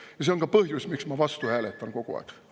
Ja see on ka põhjus, miks ma hääletan kogu aeg vastu.